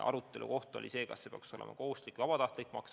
Aruteluteema on olnud, kas nende makse peaks olema kohustuslik või vabatahtlik.